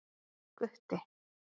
Gutti